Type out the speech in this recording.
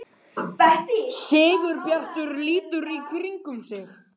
Sigurbjartur lítur í kringum sig.